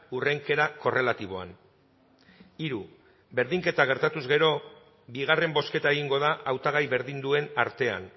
hurrenkera korrelatiboan hiru berdinketa gertatuz gero bigarren bozketa egingo da hautagai berdin duen artean